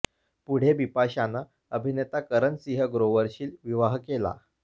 पुढे बिपाशाने अभिनेता करण सिंह ग्रोवरशी विवाह केला